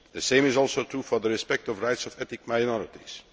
The same is also true for the respect of the rights of ethnic minorities.